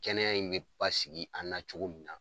Kɛnɛya in bɛ basigi an na cogo min na.